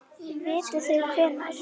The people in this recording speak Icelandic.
Vitið þið hvenær?